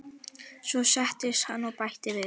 Svo settist hann og bætti við